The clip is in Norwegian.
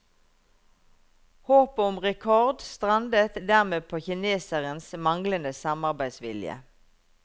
Håpet om rekord strandet dermed på kinesernes manglende samarbeidsvilje.